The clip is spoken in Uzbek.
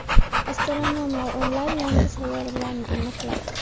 Astronomlar o‘nlab yangi sayyoralarni aniqladi.